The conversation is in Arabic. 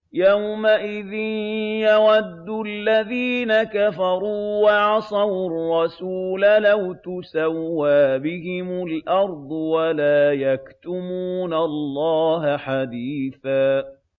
يَوْمَئِذٍ يَوَدُّ الَّذِينَ كَفَرُوا وَعَصَوُا الرَّسُولَ لَوْ تُسَوَّىٰ بِهِمُ الْأَرْضُ وَلَا يَكْتُمُونَ اللَّهَ حَدِيثًا